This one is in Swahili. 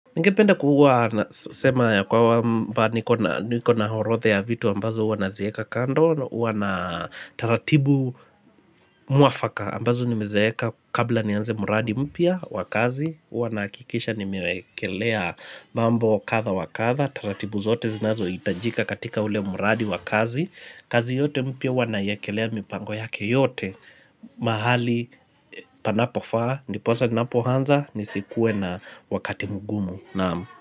Ningependa kuwa nasema ya kwamba niko na horodhe ya vitu ambazo huwa nazieka kando Uwa na taratibu mwafaka ambazo nimezeeka kabla nianze muradi mpya wa kazi Uwa naakikisha nimeekelea mambo kadha wakadha taratibu zote zinazoitajika katika ule muradi wa kazi kazi yote mpya huwa naiekelea mipango yake yote mahali panapofaa ndiposa ninapohanza nisikue na wakati mgumu Naam.